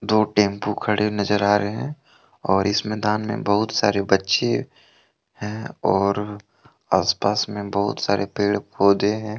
दो टेंपू खड़े नजर आ रहे हैं और इस मैदान में बहुत सारे बच्चे हैं और आसपास में बहुत सारे पेड़ पौधे हैं।